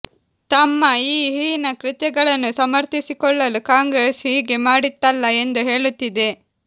ತಮ್ಮ ಈ ಹೀನ ಕೃತ್ಯಗಳನ್ನು ಸಮರ್ಥಿಸಿಕೊಳ್ಳಲು ಕಾಂಗ್ರೆಸ್ ಹೀಗೆ ಮಾಡಿತ್ತಲ್ಲಾ ಎಂದು ಹೇಳುತ್ತಿದೆ